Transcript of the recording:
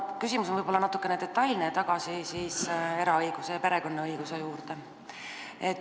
Küsimus on võib-olla natukene detailne, läheb tagasi eraõiguse ja perekonnaõiguse juurde.